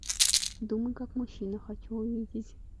думай как мужчина хочу увидеть